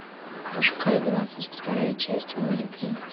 пошукай двадцать вторая часть мой любимец